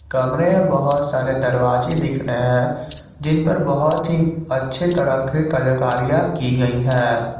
कमरे में बहोत सारे दरवाजे दिख रहे हैं जिनपर बहोत ही अच्छे तरह के कलाकारियां की गई है।